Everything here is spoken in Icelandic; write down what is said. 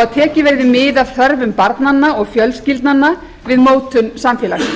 og tekið verði mið af þörfum barnanna og fjölskyldnanna við mótun samfélagsins